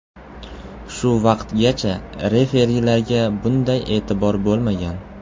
Shu vaqtgacha referilarga bunday e’tibor bo‘lmagan.